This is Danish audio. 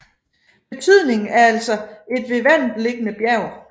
Betydningen er altså et ved vandet liggende bjerg